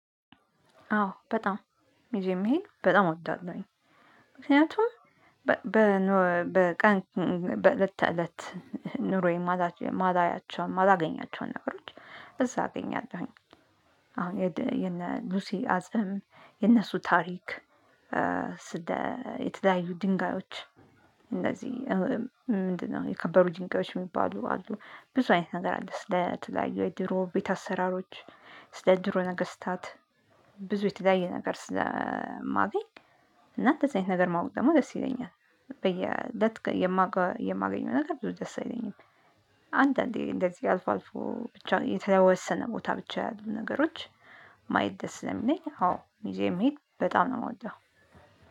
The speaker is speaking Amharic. አዎ በጣም ሙዜም መሄድ በጣም እወዳለሁኝ። ምክንያቱም በቀን በእለት ተእለት ኑሮዬን ማላያቸውን ማላገኛቸውን ነገሮች እዛ አገኛለሁኝ አሁን የነ ሉሲ አጽም የነሱ ታሪክ ስለ የተለያዩ ድንጋዮች እንደዚህ ምንድነው? የከበሩ ድንጋዮች የሚባሉ አሉ ብዙ አይነት ነገር አለ። ስለ ትዳይ የድሮ ቤት አሰራሮች ስለ ድሮ ነገስታት ብዙ የተለያዩ ነገር ስለማገኝ። እና አንተ የት አይነት ነገር ማወቅ ደግሞ ደስ ይለኛል። በየ ደት ነገር ብዙ ደስ አይለኝም። አንዳንዴ እንደዚህ አልፎ አልፎ ብቻ የተወሰነ ቦታ ብቻ ያሉ ነገሮች። ማየት ደስ ስለሚለኝ አዎ ሙዚየም መሄድ በጣም ነው የምወደው